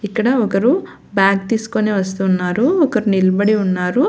ఇక్కడ ఒకరు బ్యాగ్ తీస్కొని వస్తున్నారు ఒకరు నిల్బడి ఉన్నారు.